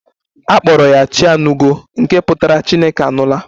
A kpọrọ ya 'Chianugo' nke pụtara 'Chineke anụla'